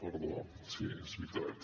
perdó sí és veritat